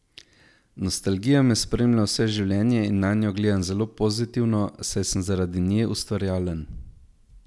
Nostalgija me spremlja vse življenje in nanjo gledam zelo pozitivno, saj sem zaradi nje ustvarjalen.